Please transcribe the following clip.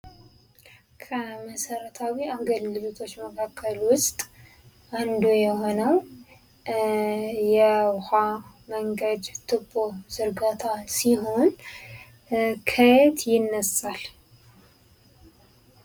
ከመሰረታዊ አገልግሎቶች ውስጥ አንዱ የሆነው የውሃ መንገድ ቲቦ ዝርጋታ ሲሆን ከየት ይነሳል።